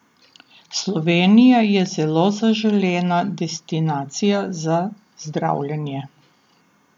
Slovenija je zelo zaželena destinacija za zdravljenje.